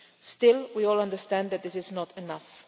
Still, we all understand that this is not enough.